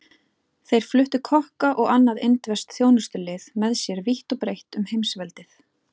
Þeir fluttu kokka og annað indverskt þjónustulið með sér vítt og breitt um heimsveldið.